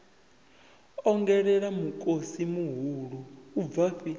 ongolela mikosi mihulu u bvafhi